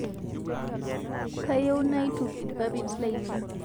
Kayieu naituk lpapit lainien